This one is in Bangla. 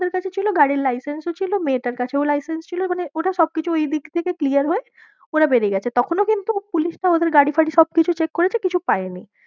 ওদের কাছে ছিল, গাড়ির license ও ছিল মেয়েটার কাছেও license ছিল, মানে ওটা সবকিছু ঐদিক থেকে clear হয়ে ওরা বেরিয়ে গেছে, তখনও কিন্তু পুলিশটা ওদের গাড়ি ফাড়ি সবকিছু check করেছে, কিছু পায়নি।